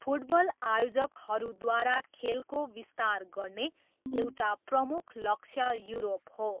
Football आयोजकहरूद्वारा खेलको विस्तार गर्ने एउटा प्रमुख लक्ष्य युरोप हो।